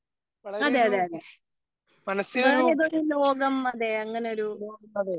അതേ അതേ വേറെ ഏതോ ഒരു ലോകം അങ്ങനെ ഒരു